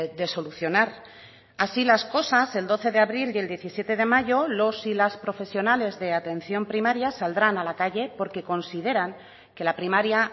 de solucionar así las cosas el doce de abril y el diecisiete de mayo los y las profesionales de atención primaria saldrán a la calle porque consideran que la primaria